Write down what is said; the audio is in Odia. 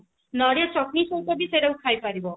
ନଡିଆ ଚଟଣି ସହିତ ବି ସେଟା କୁ ଖାଇପାରିବ